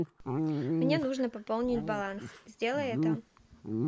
мне нужно пополнить баланс сделай это